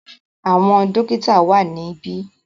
Àwọn dọ́kítá wà níbí.